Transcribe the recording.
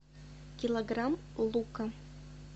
килограмм лука